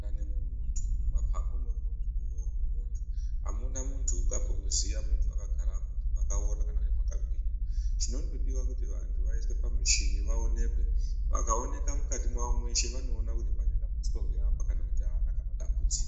Muntani mwemuntu, mumapapu mwemuntu, mumwoyo memuntu hamuna muntu ungambomuziya muntu akagara apa mukati memuntu makaora kana kuti makagwinya chinondodiwa kuti vantu vaiswe pamuchini vaonekwe vakaonekwa mukati mawo mweshe vanoona kuti pane dambudziko ndeapa kana kuti hapana kana dambudziko.